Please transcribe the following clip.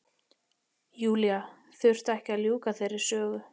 Júlía þurfti ekki að ljúka þeirri sögu.